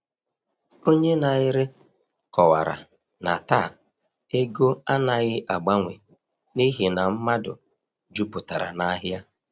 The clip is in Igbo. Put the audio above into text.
Onye na-ere kọwara na taa ego anaghị agbanwe n’ihi na mmadụ jupụtara n’ahịa.